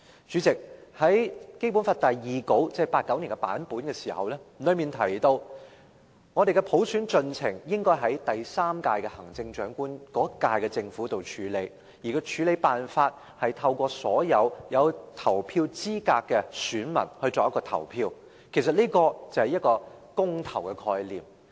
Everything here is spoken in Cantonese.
主席，《基本法》第二稿——即1989年的版本——提及，香港的普選進程應該由第三屆特區政府處理，而處理辦法是透過所有合資格的選民投票，其實這是公投的概念。